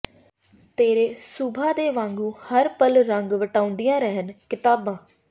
ਤੇਰੇ ਸੁਭਾ ਦੇ ਵਾਂਗੂੰ ਹਰ ਪਲ ਰੰਗ ਵਟਾਉਂਦੀਆਂ ਰਹਿਣ ਕਿਤਾਬਾਂ